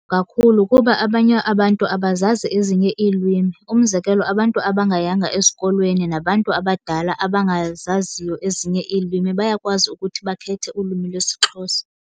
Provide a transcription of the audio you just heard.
Kakhulu kuba abanye abantu abazazi ezinye iilwimi. Umzekelo, abantu abangayanga esikolweni nabantu abadala abangazaziyo ezinye iilwimi bayakwazi ukuthi bakhethe ulwimi lwesiXhosa.